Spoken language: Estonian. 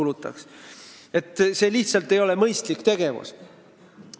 See ei ole lihtsalt mõistlik tegevus.